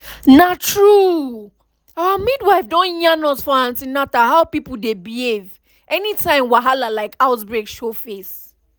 na true our midwife don yarn us for an ten atal how people dey behave anytime wahala like outbreak show face.